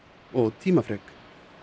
og tímafrek